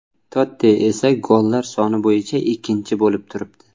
Totti esa gollar soni bo‘yicha ikkinchi bo‘lib turibdi.